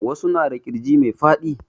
Wasu na da ƙirji mai faɗi